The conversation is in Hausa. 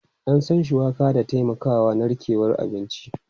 An san shuwaka da taimakawa narkewan abinci.